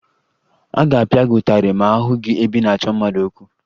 A ga-apịa gị ụtarị ma a hụ gị ebe ị na-achọ mmadụ okwu